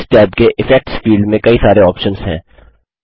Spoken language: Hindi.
इस टैब के इफेक्ट्स फील्ड में कई सारे ऑप्शन्स हैं